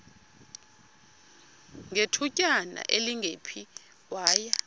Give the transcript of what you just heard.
ngethutyana elingephi waya